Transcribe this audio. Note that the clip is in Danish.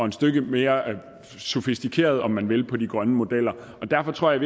et stykke mere sofistikeret om man vil på de grønne modeller derfor tror jeg